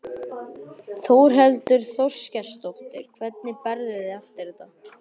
Þórhildur Þorkelsdóttir: Hvernig berðu þig eftir þetta?